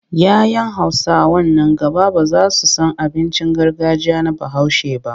Ya 'yan Hausawa nan gaba ba za su san abincin gargajiya na Bahaushe ba.